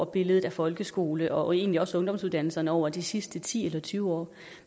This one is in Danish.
billedet af folkeskolen og egentlig også ungdomsuddannelserne over de sidste ti eller tyve år